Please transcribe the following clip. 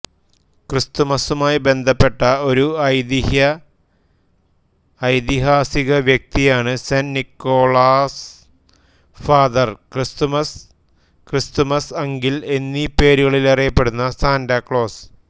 ക്രിസ്തുമസുമായി ബന്ധപ്പെട്ട ഒരു ഐതിഹ്യഐതിഹാസിക വ്യക്തിയാണ് saint Nicholas father Christmas Christmas uncle എന്നീ പേരുകളിലറിയപ്പെടുന്ന സാന്റാക്ലോസ്